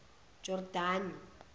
jordani